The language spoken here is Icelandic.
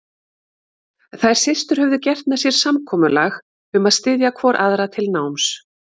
Þær systur höfðu gert með sér samkomulag um að styðja hvor aðra til náms.